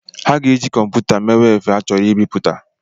Ha ga-eji kọmputa mewe efe a chọrọ ibiputa